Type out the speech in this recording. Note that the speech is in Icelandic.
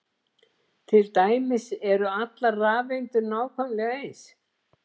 Til dæmis eru allar rafeindir nákvæmlega eins!